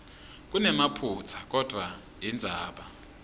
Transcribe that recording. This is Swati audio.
kunemaphutsa kodvwa indzaba